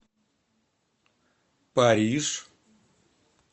париж